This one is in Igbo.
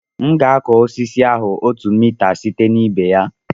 M ga-akụ osisi ahụ otu mita site na ibe ya